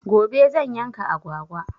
Gobe zan yanka agwagwa.